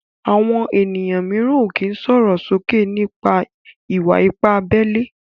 Àwọn ènìyàn míràn o ki sòròsoke nipa wa-ipa abé ilé